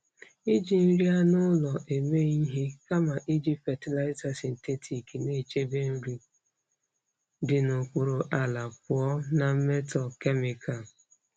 Iji nri anụ ụlọ eme ihe kama iji fatịlaịza sịntetik na-echebe mmiri dị n'okpuru ala pụọ na mmetọ kemịkal.